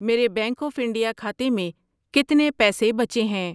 میرے Bank of India کھاتے میں کتنے پیسے بچے ہیں؟